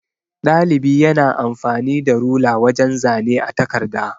Ɗalibi yana amfani da rula wajan zane a takarda.